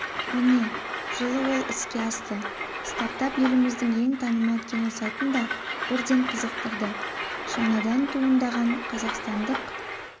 міне жылы ол іске асты стартап еліміздің ең танымал киносайтын да бірден қызықтырды жаңадан туындаған қазақстандық